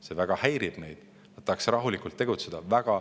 See väga häirib neid, nad tahaksid rahulikult tegutseda.